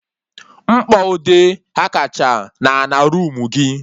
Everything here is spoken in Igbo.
Mkpọ ude ghakacha na ana roomu gị